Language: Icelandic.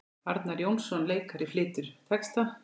Arnar Jónsson leikari flytur texta.